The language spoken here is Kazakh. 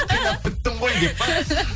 қинап біттің ғой деп па